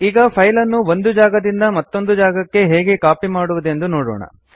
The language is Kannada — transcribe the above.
ಈಗ ಫೈಲ್ ಅನ್ನು ಒಂದು ಜಾಗದಿಂದ ಮತ್ತೋಂದು ಜಾಗಕ್ಕೆ ಹೇಗೆ ಕಾಪಿ ಮಾಡುವುದೆಂದು ನೋಡೋಣ